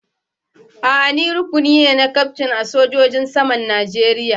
A'a, ni rukuni ne na kyaftin na sojojin saman Najeriya.